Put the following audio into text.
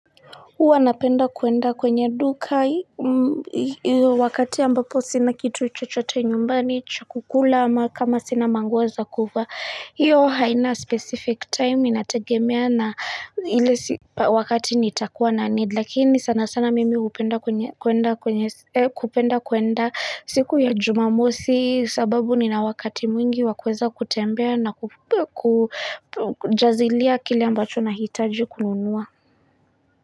Huwa napenda kuenda kwenye dukai wakati ambapo sina kitu chochote nyumbani chu kukula ama kama sina manguo za kuvaa hiyo haina specific time inategemea na ile wakati nitakuwa na Lakini sana sana mimi kupenda kuenda siku ya jumamosi sababu nina wakati mwingi wa kuweza kutembea na kujazilia kile ambacho nahitaji kununua.